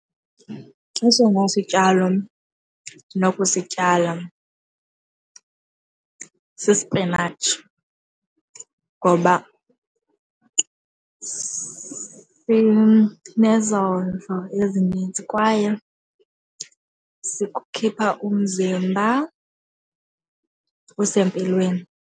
Esona sityalo endinokusityala sisipinatshi ngoba sinezondlo ezininzi kwaye sikukhipha umzimba usempilweni.